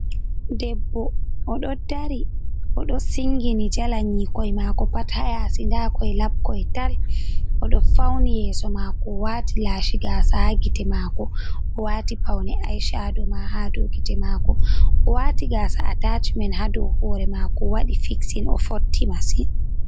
Deɓbo oɗo dari o do singini jala nyikoi mako pat ha yasi nda koi labkoi tal, oɗo fauni yeso mako o wati lashi gasa ha gite mako. Owati paune eye shadow ma hadow gite mako, o wati gasa atachment hadow hore mako wadi fixing o fotti masin.